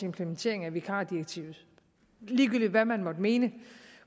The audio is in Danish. implementering af vikardirektivet ligegyldigt hvad man måtte mene